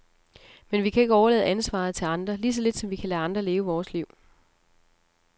Men vi kan ikke overlade ansvaret til andre, lige så lidt som vi kan lade andre leve vort liv.